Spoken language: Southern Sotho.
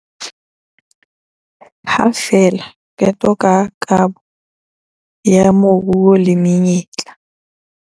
Ha fela qeto ka kabo ya moruo le menyetla.